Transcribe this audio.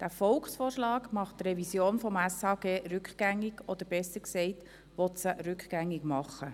Der Volksvorschlag macht die Revision des SHG rückgängig oder besser gesagt, will sie rückgängig machen.